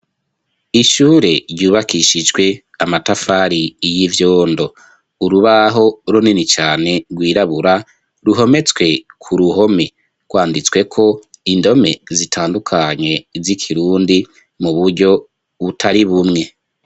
Ishure ryubakishijwe Amatafari y'ivyondo, urubaho runini cane ,rwirabura, ruhometswe ku ruhome rwanditsweko indome zitandukanye, z'ikirundi mu buryo butari bumwe.